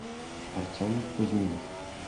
артем кузьминов